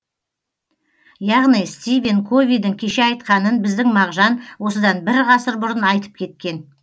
яғни стивен ковидің кеше айтқанын біздің мағжан осыдан бір ғасыр бұрын айтып кеткен